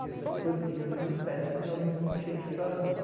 Os professores em reuniões pedem que os alunos não cheguem atrasados.